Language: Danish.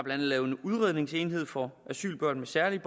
andet lavet en udredningsenhed for asylbørn med særlige